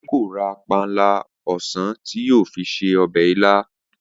Adé kò ra panla o̩sàn tí yóò fi se o̩bè̩ ilá